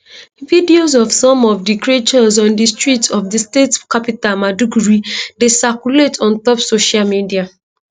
videos of some of di creatures on di streets of di state capital maiduguri dey circulate on top social media